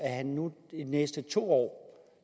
at han nu de næste to år